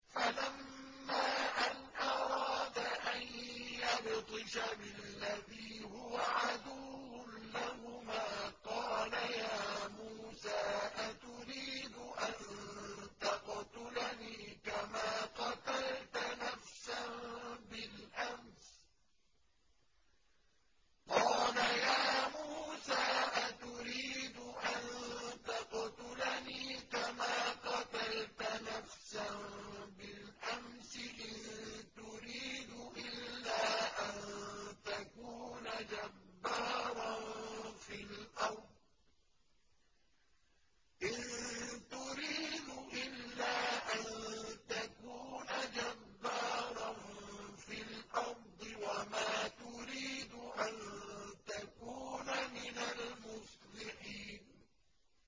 فَلَمَّا أَنْ أَرَادَ أَن يَبْطِشَ بِالَّذِي هُوَ عَدُوٌّ لَّهُمَا قَالَ يَا مُوسَىٰ أَتُرِيدُ أَن تَقْتُلَنِي كَمَا قَتَلْتَ نَفْسًا بِالْأَمْسِ ۖ إِن تُرِيدُ إِلَّا أَن تَكُونَ جَبَّارًا فِي الْأَرْضِ وَمَا تُرِيدُ أَن تَكُونَ مِنَ الْمُصْلِحِينَ